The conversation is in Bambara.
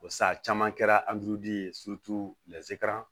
Basa caman kɛra ye